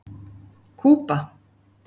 Kúba